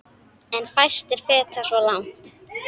En fæstir feta svo langt.